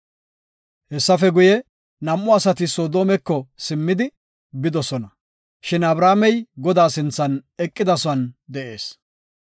Hessafe guye, nam7u asati Soodomeko simmidi bidosona, shin Abrahaamey Godaa sinthan eqidasuwan de7ees.